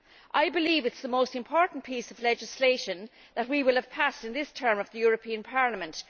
I believe it is the most important piece of legislation that we will have passed in this term of the European Parliament.